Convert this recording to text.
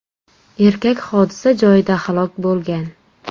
Erkak hodisa joyida halok bo‘lgan.